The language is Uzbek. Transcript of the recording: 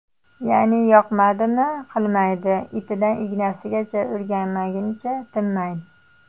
Ya’ni yoqmadimi qilmaydi, ipidan ignasigacha o‘rganmaguncha tinmaydi.